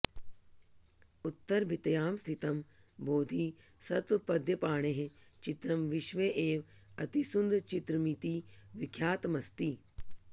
उत्तरभित्यां स्थितं बोधिसत्वपद्यपाणेः चित्रं विश्वे एव अतिसुन्दरचित्रमिति विख्यातमस्ति